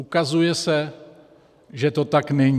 Ukazuje se, že to tak není.